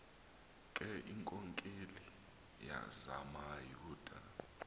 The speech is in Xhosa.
ke iinkokeli zamayuda